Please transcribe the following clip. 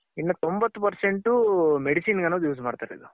ಇನ್ನ ತೊಂಬತ್ತ್ Percent Medicine ಗ್ ಅನ್ನೋದ್ use ಮಾಡ್ತಿರೋದು.